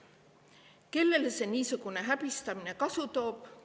Kellele niisugune häbistamine kasu toob?